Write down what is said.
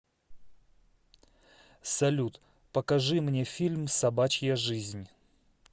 салют покажи мне фильм собачья жизнь